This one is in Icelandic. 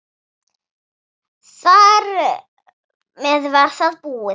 Þar með var það búið.